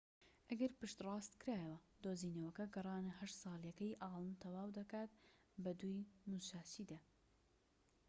ئەگەر پشت ڕاستکرایەوە دۆزینەوەکە گەڕانە هەشت ساڵیەکەی ئاڵن تەواو دەکات بە دووی موساشی دا